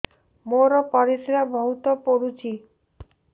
ମୋର ପରିସ୍ରା ବହୁତ ପୁଡୁଚି